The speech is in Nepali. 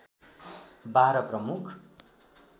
बाह्र प्रमुख